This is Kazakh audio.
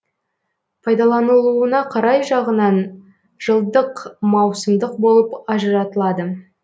пайдаланылуына қарай жағынан жылдық маусымдық болып ажыратылады